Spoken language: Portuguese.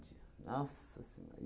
Nossa Senhora!